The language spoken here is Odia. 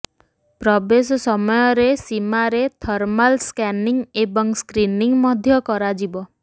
ପ୍ରବେଶ ସମୟରେ ସୀମାରେ ଥର୍ମାଲ୍ ସ୍କାନିଂ ଏବଂ ସ୍କ୍ରିନିଂ ମଧ୍ୟ କରାଯିବ